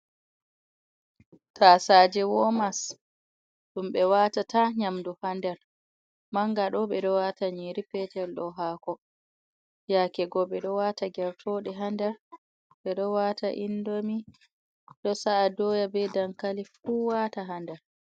Taasaaje womasji, ɗum ɓe waata ta nyamdu ha nder, manga ɗo ɓe ɗo waata nyiri, peetel ɗo haako, yaake go ɓe ɗo waata gertooɗe ha nder, ɓe ɗo waata indomi, ɗo sa’a dooya be dankali fu wata ha nder.